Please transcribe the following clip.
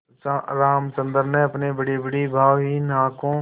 रामचंद्र ने अपनी बड़ीबड़ी भावहीन आँखों